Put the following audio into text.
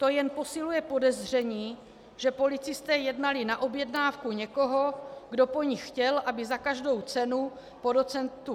To jen posiluje podezření, že policisté jednali na objednávku někoho, kdo po nich chtěl, aby za každou cenu po doc.